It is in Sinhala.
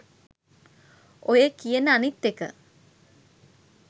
ඔය කියන අනිත් එක